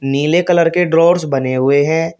नीले कलर के ड्रोवर्स बने हुए हैं।